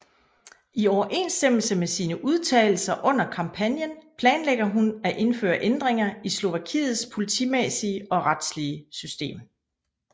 I overensstemmelse med sine udtalelser under kampagnen planlægger hun at indføre ændringer i Slovakiets politimæssige og retslige system